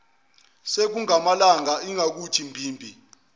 sekungamalanga ingakuthi mbibi